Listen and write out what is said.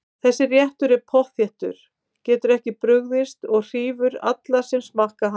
Þessi réttur er pottþéttur, getur ekki brugðist og hrífur alla sem smakka hann.